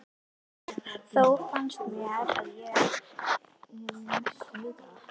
Þó fannst mér ég næstum vita það.